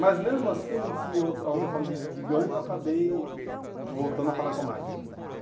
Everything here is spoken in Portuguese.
Mas mesmo assim, eu não tinha outra a outra forma de de ganho, eu acabei voltando a falar com a máquina.